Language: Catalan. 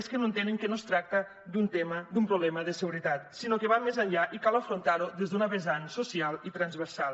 és que no entenen que no es tracta d’un tema d’un problema de seguretat sinó que va més enllà i cal afrontar ho des d’una vessant social i transversal